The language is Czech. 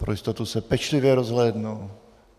Pro jistotu se pečlivě rozhlédnu.